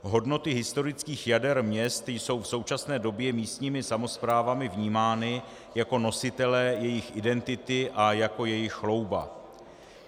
Hodnoty historických jader měst jsou v současné době místními samosprávami vnímány jako nositelé jejich identity a jako jejich chlouba.